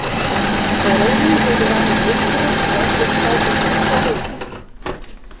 Þegar augun höfðu vanist birtunni blasti Skálholtskirkja við.